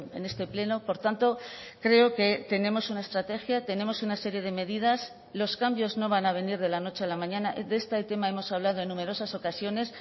en este pleno por tanto creo que tenemos una estrategia tenemos una serie de medidas los cambios no van a venir de la noche a la mañana de este tema hemos hablado en numerosas ocasiones